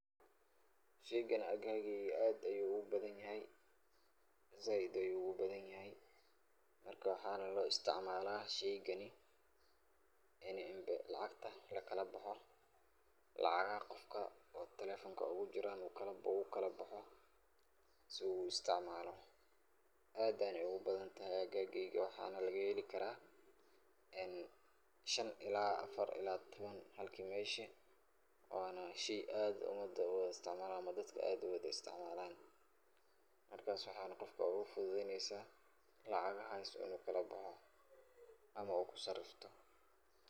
Sheeygan halkan aad ayu ugu bathanyahay, zaid ayu ugu bathanyahay, marka waxana lo isticmalah sheygani, ini lacagta lagala boxo lacgaha Qoofka telephone Naha ugu jiran wukalabxi karah, se u isticmaloh, aad Aya ugubathantahay agageyga waxana lagaheli karah shaan ila afar ila tawan Hali meshi, Wana sheey aad umada u Wala isticmalah, amah dadka aad u Wala isticmalaan halkasi waxay Qoofka ugu futhutheyneysah, lacagahas inu kalabaxoo amah ugu sariftoh .